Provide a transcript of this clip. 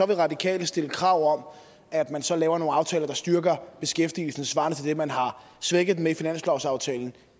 vil radikale stille krav om at man så laver nogle aftaler der styrker beskæftigelsen svarende til det man har svækket den med i finanslovsaftalen